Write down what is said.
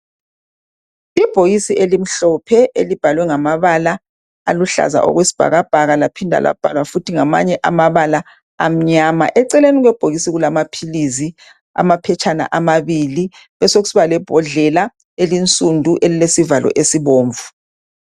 Ibhokisi elimhlophe elibhalwe ngamabala aluhlaza okwesibhakabhaka laphinda labhalwa futhi ngamanye amabala amnyama. Eceleni kwebhokisi kulamaphilizi, amaphetshana amabili besekusiba lebhodlela elinsundu elilesivalo esibomvu.